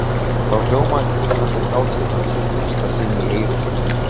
Þá hljómaði dillandi hlátur hans í fyrsta sinn í eyrum hennar.